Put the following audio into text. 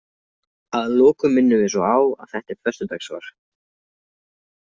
Að lokum minnum við svo á að þetta er föstudagssvar.